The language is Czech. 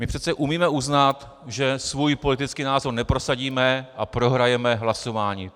My přece umíme uznat, že svůj politický názor neprosadíme a prohrajeme hlasování.